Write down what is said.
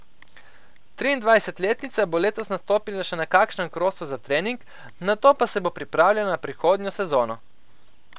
Triindvajsetletnica bo letos nastopila še na kakšnem krosu za trening, nato pa se bo pripravljala na prihodnjo sezono.